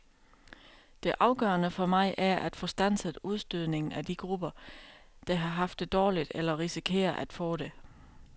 Det afgørende for mig er at få standset udstødningen af de grupper, der har haft det dårligt eller risikerer at få det.